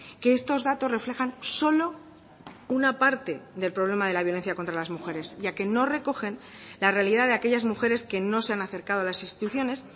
que estos datos reflejan solo una parte del problema de la violencia contra las mujeres ya que no recogen la realidad de aquellas mujeres que no se han acercado a las instituciones